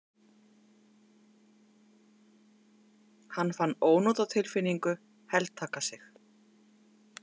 Hann fann ónotatilfinningu heltaka sig.